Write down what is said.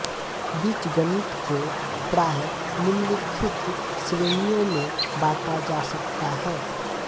बीजगणित को प्रायः निम्नलिखित श्रेणियों में बांटा जा सकता है